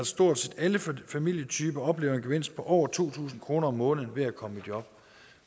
stort set alle familietyper oplever en gevinst på over to tusind kroner om måneden ved at komme i job